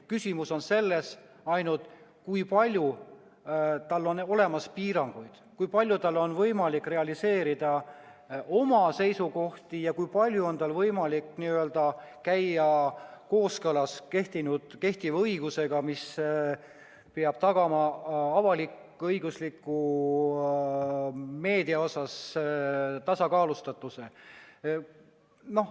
Küsimus on pigem selles, kui palju tal on piiranguid, kui palju tal on võimalik realiseerida oma seisukohti ja kui palju tal on võimalik käia kooskõlas kehtiva õigusega, mis peab tagama avalik-õigusliku meedia tasakaalustatuse.